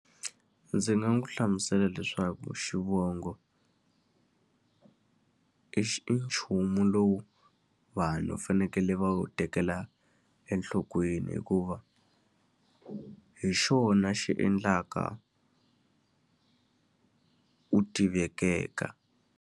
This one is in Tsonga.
Ndzi nga n'wi hlamusela leswaku xivongo i i nchumu lowu vanhu va fanekele va wu tekela enhlokweni hikuva hi xona xi endlaka u tiveka.